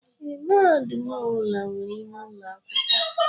Ee, mahadum ọbula nwèrè ime ụlọ akwụkwọ.